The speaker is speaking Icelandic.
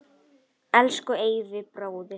Elsku Eyvi bróðir.